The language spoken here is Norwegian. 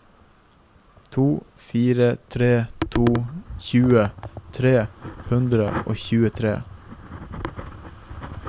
to fire tre to tjue tre hundre og tjuetre